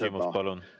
Küsimus, palun!